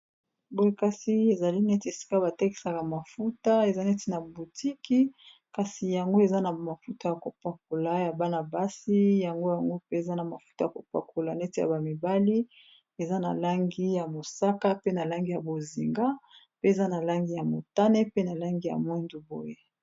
Boye kasi ezali neti esika batekisaka mafuta eza neti na butiki kasi yango eza na mafuta ya kopakola ya bana-basi yango yango mpe eza na mafuta ya kopakola neti ya bamibali eza na langi ya mosaka, pe na langi ya bozinga pe eza na langi ya motane, pe na langi ya mwendu boye.